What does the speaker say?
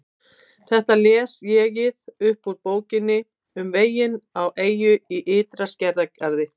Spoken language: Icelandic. Þetta les ÉG-ið upp úr Bókinni um veginn á eyju í ytri skerjagarði